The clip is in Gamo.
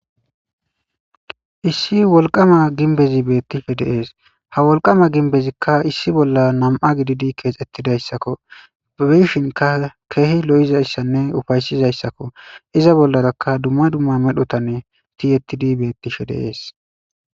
issi wolqama ginbezi beettifhe deees ha wolqama ginbezikka issi bolla nam7a gididi keexettidayssakko abishinka keehi lo7izayssanne ufaysizayssakko iza bollarakka dumma dumma medhotanne tiyettidi bettishe deees